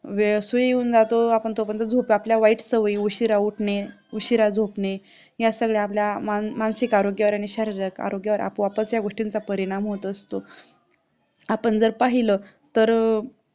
वेळ सूर्य येऊन जातो आपण तोपर्यंत झोप. आपल्या वाईट सवयी उशिरा उठणे, उशिरा झोपणे, या सगळ्या आपल्या मानसिक आरोग्यावर आणि शरीरिक आरोग्यावर आपोआपच या गोष्टींचा परिणाम होत असतो. आपण जर पाहिलं तर